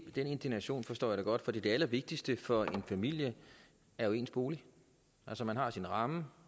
den indignation forstår jeg da godt for det allervigtigste for en familie er jo dens bolig altså man har sin ramme